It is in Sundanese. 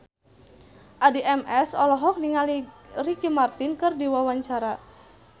Addie MS olohok ningali Ricky Martin keur diwawancara